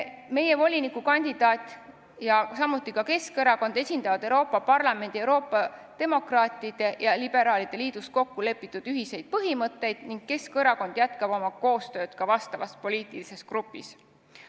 Meie volinikukandidaat ja samuti Keskerakond esindavad Euroopa Parlamendis Euroopa Demokraatide ja Liberaalide Liidus kokku lepitud ühiseid põhimõtteid ning Keskerakond jätkab koostööd selles poliitilises grupis.